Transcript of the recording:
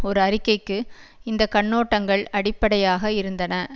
ஒரு அறிக்கைக்கு இந்த கண்ணோட்டங்கள் அடிப்படையாக இருந்தன